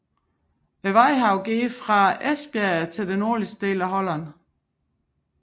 Vadehavet går helt fra Esbjerg til det nordlige Holland